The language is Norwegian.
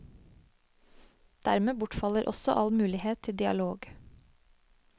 Dermed bortfaller også all mulighet til dialog.